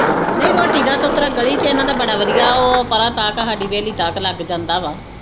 ਨਹੀ ਰੋਟੀ ਦਾ ਉਤਰਾ ਗਲੀ ਵਿਚ ਇਹਨਾ ਦਾ ਬੜਾ ਵਧੀਆ ਉਹ ਪਰਾਂ ਤੱਕ ਹਾਡੀ ਹਵੇਲੀ ਤੱਕ ਲੱਗ ਜਾਂਦਾ ਵਾ